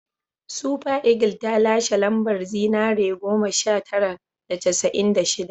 Super Eagles ta lashe lambar zinare goma sha tara da casa'in da shida